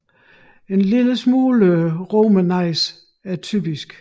En lille smule romernæse er typisk